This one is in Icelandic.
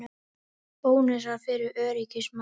Bónusar fyrir öryggismál